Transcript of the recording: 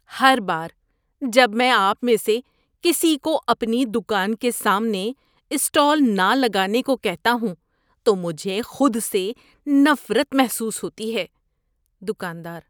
ہر بار جب میں آپ میں سے کسی کو اپنی دکان کے سامنے اسٹال نہ لگانے کو کہتا ہوں تو مجھے خود سے نفرت محسوس ہوتی ہے۔ (دکاندار)